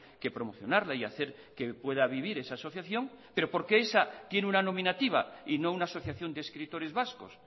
que promocionarla y hacer que pueda vivir esa asociación pero por qué esa tiene una nominativa y no una asociación de escritores vascos